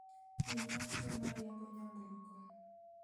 pim matiyo ma riembo nyamburko